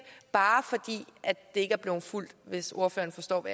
bare fordi det ikke er blevet fulgt hvis ordføreren forstår